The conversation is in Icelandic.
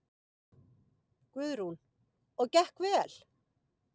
Guðrún: Og gekk vel?